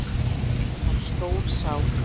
Hún var stór sál.